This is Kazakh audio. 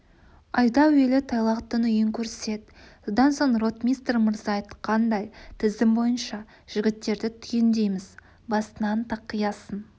айда әуелі тайлақтың үйін көрсет содан соң ротмистр мырза айтқандай тізім бойынша жігіттерді түгендейміз басынан тақиясын